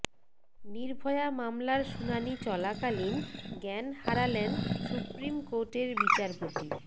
নির্ভয়া মামলার শুনানি চলাকালীন জ্ঞান হারালেন সুপ্রিম কোর্টের বিচারপতি